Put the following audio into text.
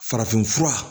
Farafinfura